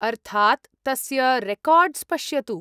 अर्थात्, तस्य रेकार्ड्स् पश्यतु।